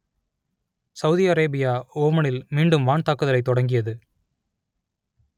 Saudi Arabia ஓமனில் மீண்டும் வான் தாக்குதலைத் தொடங்கியது